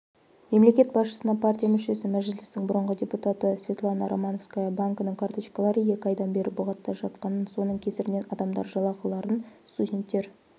мемлекет басшысына партия мүшесі мәжілістің бұрынғы депутаты светлана романовская банкінің карточкалары екі айдан бері бұғатта жатқанын соның кесірінен адамдар жалақыларын студенттер